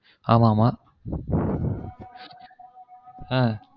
ஆமா ஆமா ஹ